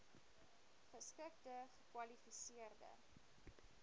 geskikte gekwali seerde